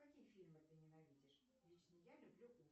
какие фильмы ты ненавидишь лично я люблю